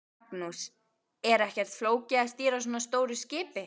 Magnús: Er ekkert flókið að stýra svona stóru skipi?